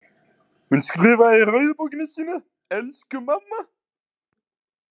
Hún skrifaði í rauðu bókina sína: Elsku mamma.